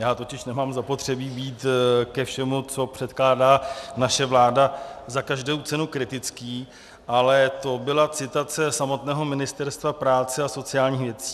Já totiž nemám zapotřebí být ke všemu, co předkládá naše vláda za každou cenu kritický, ale to byla citace samotného Ministerstva práce a sociálních věcí.